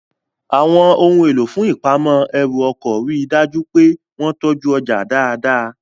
Àwọn ohun èlò fún ìpamọ́ ẹrù ọkọ̀ rí dájú pé wọ́n tọ́jú ọjà dáadáa